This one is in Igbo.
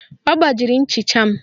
Ọ gbajiri nchịcha m